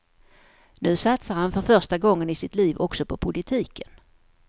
Nu satsar han för första gången i sitt liv också på politiken.